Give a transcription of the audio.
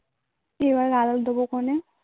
এবার আবার দেবো ক্ষনে